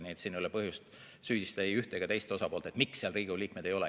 Nii et siin ei ole põhjust süüdistada ei üht ega teist osapoolt, miks seal Riigikogu liikmeid ei ole.